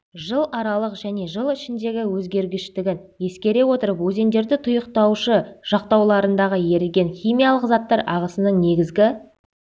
жыларалық және жыл ішіндегі өзгергіштігін ескере отырып өзендерді тұйықтаушы жақтауларындағы еріген химиялық заттар ағысының негізгі